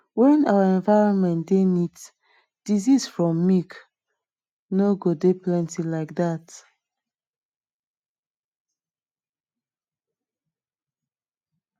when our environment dey neat diseases from milk no go dey plenty like dat